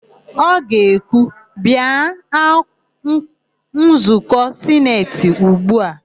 Ọ ga-ekwu, "bịa nzụkọ sineti ugbu a"!